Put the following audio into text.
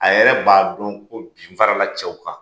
A yɛrɛ b'a don ko bi n fara la cɛw kan.